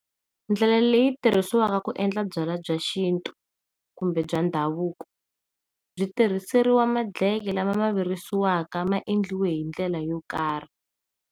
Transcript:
Ndlela leyi tirhisiwaka ku endla byalwa bya xintu kumbe bya ndhavuko byi tirhiseriwa madleke lama xavisiwaka maendlele hi ndlela yo karhi.